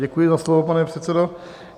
Děkuji za slovo, pane předsedo.